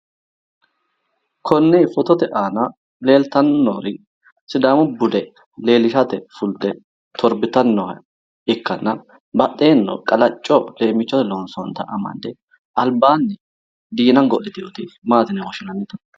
konne footote aana leeltanni noori sidaamu bude leelishshate fulte torbitanni nooha ikkana badheenni qaacco leemmichotenni loonsoonnita amadde albaanni diina go'liteewota maati yine woshshinannite?